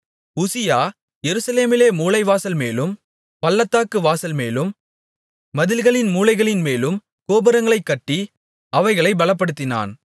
உசியா எருசலேமிலே மூலைவாசல்மேலும் பள்ளத்தாக்கு வாசல்மேலும் மதில்களின் மூலைகளின்மேலும் கோபுரங்களைக் கட்டி அவைகளைப் பலப்படுத்தினான்